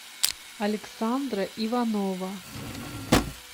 александра иванова